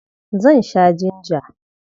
Zan sha jinja.